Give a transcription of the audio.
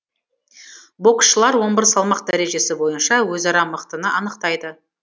боксшылар он бір салмақ дәрежесі бойынша өзара мықтыны анықтайды